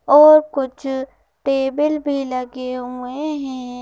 और कुछ टेबल भी लगे हुए हैं।